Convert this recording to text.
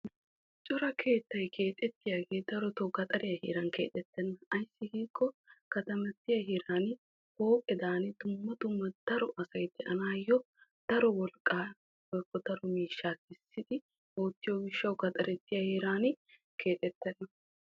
cora keettay keexxetiyaagee darotoo gaxxariya heeran keexxetenna. ayssi giikko kattamatiya heerani pooqedaani dumma dumma daro asay de'anaayo daro wolqaa woykko daro miishshaa kessidi oottiyo gishshawu gaxxarettiya heeranni keexxetenna.